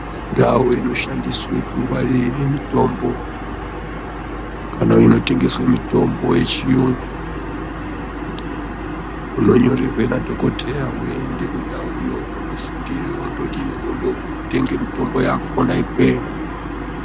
Ndau inoshandiswe kungwarire mitombo kana inotengeswe mitombo yechiyungu unonyorerwe nadhokoteya weiende kundauyo wondofundire wondodini wondotenge mitombo yako kona ikweyo.